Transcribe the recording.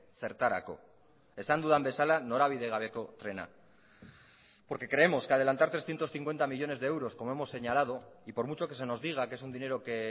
zertarako esan dudan bezala norabide gabeko trena porque creemos que adelantar trescientos cincuenta millónes de euros como hemos señalado y por mucho que se nos diga que es un dinero que